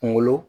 Kungolo